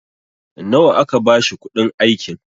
nawa aka bashi kuɗin aikin?